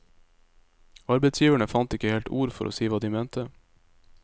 Arbeidsgiverne fant ikke helt ord for å si hva de mente.